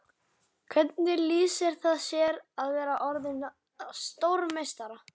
Hvernig lýsir það sér að vera orðinn að stórmeistara?